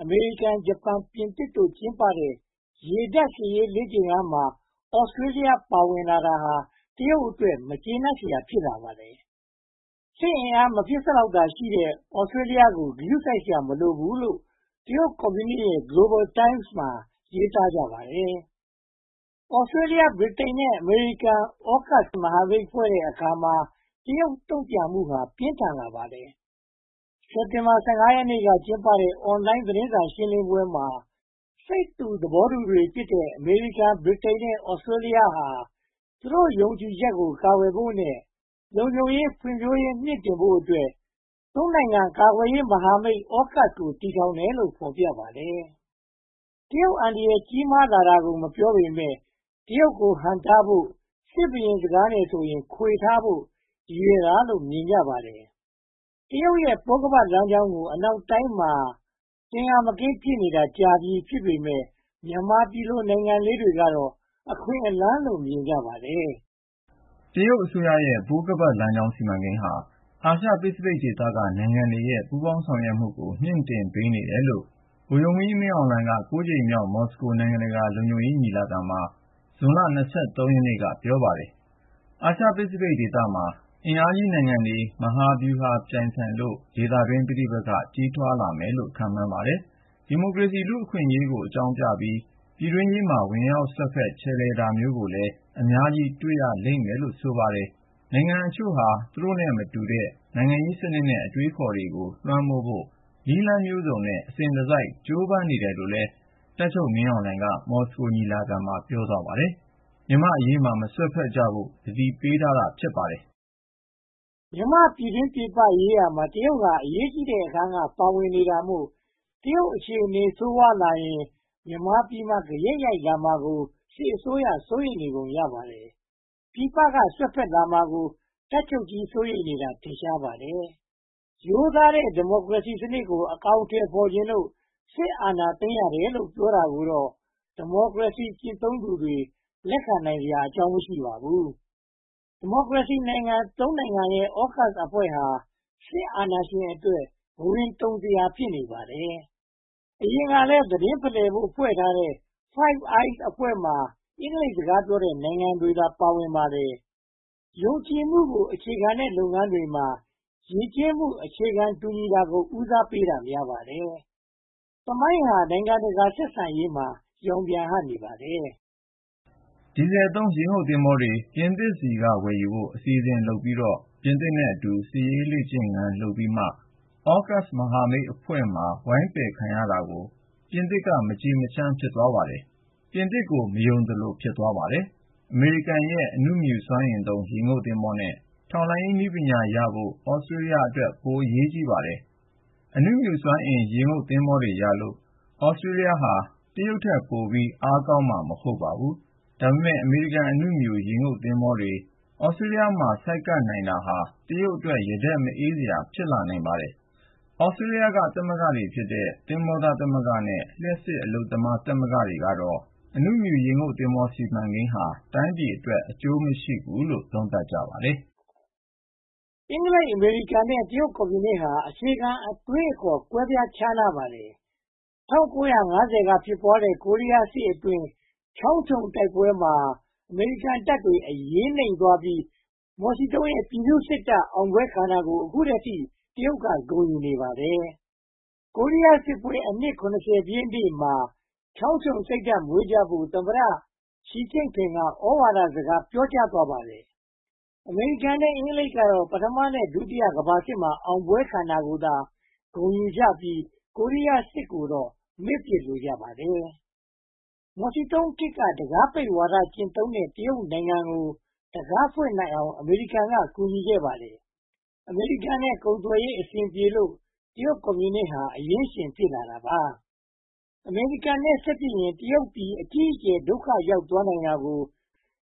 အမေရိကန်၊ ဂျပန် နဲ့ ပြင်သစ်တို့ ကျင်းပခဲ့တဲ့ ရေတပ်စစ်ဆင်ရေးလေ့ကျင့်ခန်းမှာ Australia ပါဝင်တာဟာ တရုတ်အတွက် မကျေနပ်စရာ ဖြစ်လာပါတယ်။ စစ်အင်အား မဖြစ်စလောက်သာရှိတဲ့ Australia ကို ဂရုစိုက်စရာ မလိုဘူးလို့ တရုတ်ကွန်မြူနစ်ရဲ့ Global Times မှာ ရေးသားကြပါတယ်။ Australia ဗြိတိန်နဲ့ အမေရိကန် AUKUS မဟာမိတ်ဖွဲ့တဲ့အခါ တရုတ်တုံ့ပြန်မှု ပြင်းထန်လာပါတယ်။ စက်တင်ဘာ ရက်က ကျင်းပတဲ့ အွန်လိုင်းသတင်းစာရှင်းလင်းပွဲမှာ စိတ်တူသဘောတူတွေဖြစ်တဲ့ အမေရိကန်၊ ဗြိတိန်နဲ့ Australia ဟာ သူတို့ ယုံကြည်ချက်ကို ကာကွယ်ဖို့နဲ့ လုံခြုံရေး ဖွံ့ဖြိုးရေး မြှင့်တင်ဖို့အတွက် နိုင်ငံ ကာကွယ်ရေးမဟာမိတ် AUKUS ကို တည်ထောင်တယ်လို့ ဖော်ပြပါတယ်။ တရုတ်အန္တရာယ် ကြီးမားလာတာကို မပြောပေမယ့် တရုတ်ကို ဟန့်တားဖို့၊ စစ်တုရင်စကားနဲ့ဆိုရင် ခွေထားဖို့၊ ရည်ရွယ်တာလို့ မြင်ကြပါတယ်။ တရုတ်ရဲ့ ပိုးခါးပတ်လမ်းကြောင်းကို အနောက်တိုင်းမှာ သင်္ကာမကင်း ဖြစ်နေတာ ကြာပြီဖြစ်ပေမယ့် မြန်မာပြည်လို့ နိုင်ငံလေးတွေကတော့ အခွင့်အလမ်းလို့ မြင်ကြပါတယ်။ တရုတ်အစိုးရရဲ့ ပိုးခါးပတ်လမ်းကြောင်း စီမံကိန်းဟာ အာရှပစီဖိတ်ဒေသနိုင်ငံတွေရဲ့ ပူးပေါင်းဆောင်ရွက်မှုကို မြှင့်တင်ပေးနေတယ်လို့ တပ်ချုပ်မင်းအောင်လှိုင်က ကြိမ်မြောက် မော်စကို နိုင်ငံတကာလုံခြုံရေးညီလာခံမှာ ဇွန်လ ရက်နေ့က ပြောပါတယ်။ အာရှပစိဖိတ်ဒေသမှာ အင်အားကြီးနိုင်ငံတွေ မဟာဗျူဟာပြိုင်ဆိုင်လို့ ဒေသတွင်း ပဋိပက္ခတွေ ကြီးထွားလာမယ်လို့လည်း ခန့််မှန်းပါတယ်။ ဒီမိုကရေစီနဲ့ လူ့အခွင့်အရေးအကြောင်းပြပြီး ပြည်တွင်းရေးမှာ ဝင်ရောက်စွက်ဖက်ခြယ်လှယ် လိုတာမျိုးကိုလည်း အများကြီးတွေ့ရလိမ့်မယ်လို့ ဆိုပါတယ်။ နိုင်ငံအချို့ဟာ သူတို့နဲ့မတူတဲ့ နိုင်ငံရေးစနစ်နဲ့ အတွေးအခေါ်တွေကို လွှမ်းမိုးဖို့ နည်းလမ်းမျိုးစုံနဲ့ အစဉ်တစိုက် ကြိုးပမ်းနေတယ်လို့လည်း တပ်ချုပ်မင်းအောင်လှိုင်က မော်စကိုညီလာခံမှာ ပြောသွားပါတယ်။ မြန်မာ့အရေးမှာ မစွက်ဖက်ကြဖို့ကို သတိပေးတာ ဖြစ်ပါတယ်။ မြန်မာ့ပြည်တွင်း-ပြည်ပရေးရာမှာ တရုတ်ဟာ အရေးကြီးတဲ့အခန်းကဏ္ဍက ပါဝင်နေတာမို့ တရုတ်အခြေအနေ ဆိုးဝါးလာရင် မြန်မာပြည်မှာ ဂယက်ရိုက်လာမှာကို စစ်အစိုးရ စိုးရိမ်နေပုံ ရပါတယ်။ ပြည်ပက စွက်ဖက်လာမှာကို တပ်ချုပ်ကြီး စိုးရိမ်နေတာ ထင်ရှားပါတယ်။ ရိုးသားတဲ့ ဒီမိုကရေစီစနစ်ကို အကောင်အထည်ဖော်ချင်လို့ စစ်အာဏာသိမ်းရတယ်လို့ ပြောတာကိုတော့ ဒီမိုကရေစီ ကျင့်သုံးသူတွေ လက်ခံနိုင်စရာ မရှိပါဘူး။ ဒီမိုကရေစီနိုင်ငံ နိုင်ငံရဲ့ အောကပ်စ်အဖွဲ့ဟာ စစ်အာဏာရှင်အတွက် ဘဝင်တုန်စရာ ဖြစ်နိုင်ပါတယ်။ အရင်ကတည်းက သတင်းဖလှယ်ဖို့ ဖွဲ့ထားတဲ့ Five Eyes အဖွဲ့မှာ အင်္ဂလိပ်စကားပြောတဲ့ နိုင်ငံတွေသာ ပါဝင်ပါတယ်။ ယုံကြည်မှုကို အခြေခံရတဲ့ လုပ်ငန်းတွေမှာ ယဉ်ကျေးမှု အခြေခံတူညီတာကို ဦးစားပေးတာ များပါတယ်။ သမိုင်းဟာ နိုင်ငံတကာဆက်ဆံရေးမှာ ရောင်ပြန်ဟပ်နေပါတယ်။ ဒီဇယ်သုံး ရေငုတ်သင်္ဘောတွေ ပြင်သစ်ဆီက ဝယ်ယူဖို့ အစီအစဉ်လုပ်ပြီးတော့၊ ပြည်သစ်နဲ့အတူ စစ်ရေးလေ့ကျင့်ရေးတွေ လုပ်ပြီးမှ အောကပ်စ်မဟာမိတ်အဖွဲ့မှာ ဝိုင်းပယ်ခံရတာကို ပြင်သစ်က မကျေမချမ်း ဖြစ်သွားပါတယ်။ ပြင်သစ်ကို မယုံသလို ဖြစ်သွားပါတယ်။ အမေရိကန်ရဲ့ အဏုမြူစွမ်းအင်သုံး ရေငုတ်သင်္ဘောနဲ့ ထောက်လှမ်းရေးပညာရဖို့က Australia အတွက် ပိုအရေးကြီးပါတယ်။ အဏုမြူစွမ်းအင်သုံး ရေငုတ်သဘောၤတွေရလို့ Australia ဟာ တရုတ်ထက်ပိုပြီးတော့ အားကောင်းလာမှာတော့ မဟုတ်ပါဘူး။ ဒါပေမဲ့ အမေရိကန်အဏုမြူရေငုတ်သင်္ဘောတွေ Australia မှာ ဆိုက်ကပ်နိုင်တာဟာ တရုတ်အတွက် ရတတ်မအေးစရာ ဖြစ်လာနိုင်ပါတယ်။ Australia သမဂ္ဂဖြစ်တဲ့ သင်္ဘောသားသမဂ္ဂနဲ့ လျှပ်စစ်အလုပ်သမားသမဂ္ဂတို့ကတော့ အဏုမြူရေငုတ်သင်္ဘော စီမံကိန်းဟာ တိုင်းပြည်အတွက် အကျိုးမရှိဘူးလို့ သုံးသပ်ကြပါတယ်။ အင်္ဂလိပ်-အမေရိကန်နဲ့ တရုတ်ကွန်မြူတို့ဟာ အခြေခံ အတွေးအခေါ် ကွဲပြားခြားနားကြပါတယ်။ ၁၉၅၀ က ဖြစ်ပွားခဲ့တဲ့ ကိုရီးယားစစ်အတွင်း ချောင်းချုံ - Chong Chon တိုက်ပွဲမှာ အမေရိကန်တပ်တွေ အရေးနိမ့်သွားပြီး မော်စီတုန်းရဲ့ ပြည်သူ့စစ်တပ် အောင်ပွဲခံတာကို အခုထက်ထိ တရုတ်က ဂုဏ်ယူနေပါတယ်။ ကိုရီးယားစစ်ပွဲ အနှစ် ပြည့်နေ့မှာ ချောင်းချုံစိတ်ဓါတ် မွေးကြဖို့ တရုတ်သမ္မတ ရှီကျင့်ဖိန်က သြဝါဒစကား ပြောကြားသွားပါတယ်။ အမေရိကန်နဲ့ အင်္ဂလိပ်ကတော့ ပထမနဲ့ ဒုတိယကမ္ဘာစစ်မှာ အောင်ပွဲခံတာကိုသာ ဂုဏ်ယူပြီး ကိုရီးယားစစ်ကိုတော့ မေ့ပစ်လိုက်ကြပါတယ်။ မော်စီတုန်းခေတ်က တံခါးပိတ်ဝါဒ ကျင့်သုံးခဲ့တဲ့ တရုတ်နိုင်ငံကို တံခါးဖွင့်နိုင်အောင် အမေရိကန်က ကူညီခဲ့တာ ဖြစ်ပါတယ်။ အမေရိကန်နဲ့ ကုန်သွယ်ရေး အဆင်ပြေလို့ တရုတ်ကွန်မြူနစ်ဟာ အရင်းရှင် ဖြစ်လာတာပါ။ အမေရိကန်နဲ့ စစ်ဖြစ်ရင် တရုတ်ပြည် အကြီးအကျယ် ဒုက္ခရောက်သွားနိုင်တာကို